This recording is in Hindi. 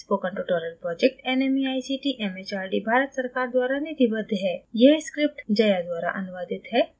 spoken tutorial project nmeict mhrd Bharat सरकार द्वारा निधिबद्ध है